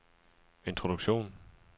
introduktion